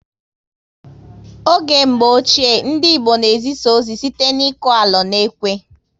Oge mgbọ ochie, ndị Igbo na ezisa ozi site n'iku alo na ekwe